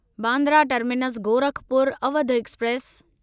Bandra terminus Gorakhpur Awadh express